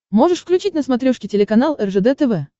можешь включить на смотрешке телеканал ржд тв